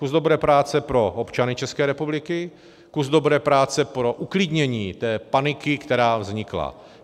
Kus dobré práce pro občany České republiky, kus dobré práce pro uklidnění té paniky, která vznikla.